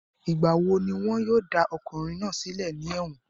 Ìgbà wo ni wọn yóò dá ọkùnrin náà sílẹ̀ ní ẹ̀wọ̀n?